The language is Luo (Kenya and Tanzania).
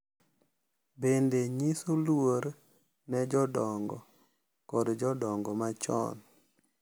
bende nyiso luor ne jodongo kod jodongo machon.